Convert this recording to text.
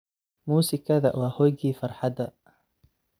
Musikadha wa hooygii farhadha.